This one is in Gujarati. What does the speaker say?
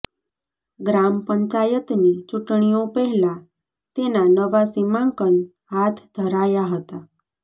ગ્રામ પંચાયતની ચુંટણીઓ પહેલા તેના નવા સીમાંકન હાથ ધરાયા હતા